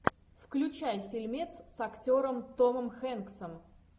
включай фильмец с актером томом хэнксом